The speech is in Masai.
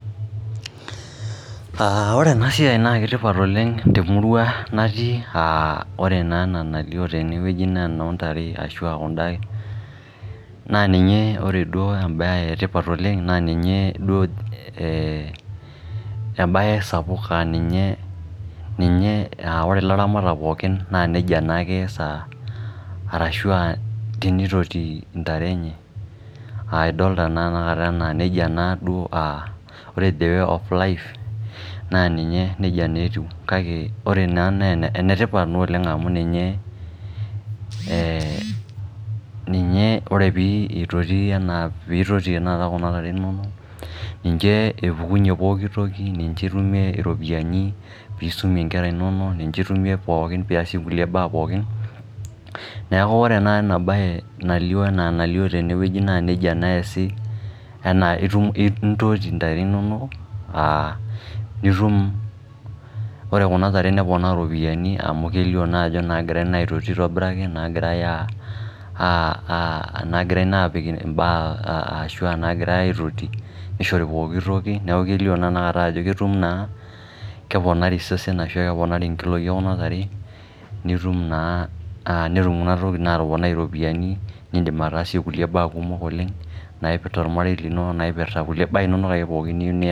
Ore enasiai na ketipat oleng temurua natii, ah ore naa ena nalio tenewueji naa enoontare, ashua kuda, na ninye ore duo imbaa etipat oleng', na ninye duo ebae sapuk aninye ninye, ore laramatak pookin, na nejia naake eesa, arashu tenitoti intare enye. Ah idolta naa tanakata enaa nejia naduo, ore the way of life ,naa ninye nejia neetiu. Kake ore naa, ne enetipat naa oleng amu ninye ore pitoti tanakata kuna tare inonok, ninche epukunye pooki toki. Ninche itumie iropiyiani nisumie nkera inonok, ninche itumie pookin piasie nkulie baa pookin, neeku ore ena enabae, nalio enaa enalio tenewueji, ejii naa nejia naa eesi. Enaa intoti ntare inonok, nitum, ore kuna tare neponaa ropiyaiani amu kelio naajo nagirai naa aitoti aitobiraki, nagirai naa apik imbaa ashua nagirai aitoti, nishori pooki toki, neeku kelio naa tanakata ajo ketum naa, keponari isesen ashu keponari nkiloi ekuna tare, nitum naa, netum kuna tokiting atoponai iropiyiani, nidim ataasie kulie baa kumok oleng',naipirta ormarei lino, naipirta kulie baa inonok aje pookin niyieu nias.